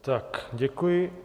Tak děkuji.